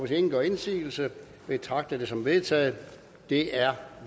ingen gør indsigelse betragter jeg det som vedtaget det er